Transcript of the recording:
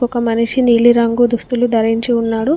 ఒక మనిషి నీలి రంగు దుస్తులు ధరించి ఉన్నాడు.